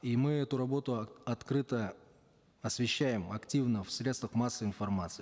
и мы эту работу открыто освещаем активно в средствах массовой информации